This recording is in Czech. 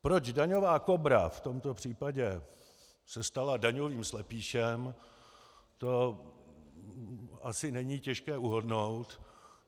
Proč daňová Kobra v tomto případě se stala daňovým slepýšem, to asi není těžké uhodnout.